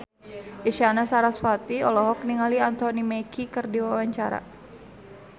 Isyana Sarasvati olohok ningali Anthony Mackie keur diwawancara